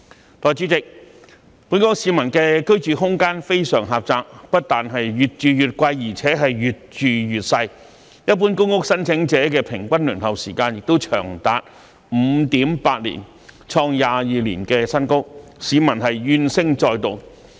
代理主席，本港市民的居住空間非常狹窄，不但越住越貴，而且越住越細，一般公屋申請者的平均輪候時間亦長達 5.8 年，創22年新高，市民怨聲載道。